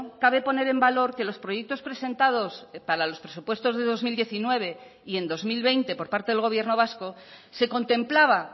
cabe poner en valor que los proyectos presentados para los presupuestos de dos mil diecinueve y en dos mil veinte por parte del gobierno vasco se contemplaba